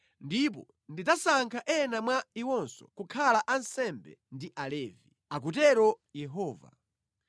Ndipo ndidzasankha ena mwa iwonso kukhala ansembe ndi Alevi,” akutero Yehova.